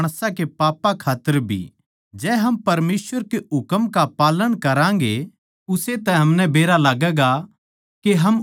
जो कोई या कहवै सै मै उसनै जाण ग्या सूं अर उसकै हुकम नै न्ही मानता यो वो माणस झुठ्ठा सै उस म्ह सच कोन्या